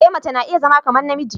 E mace na iya zama kamar namiji.